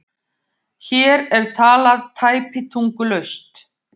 Hér er talað tæpitungulaust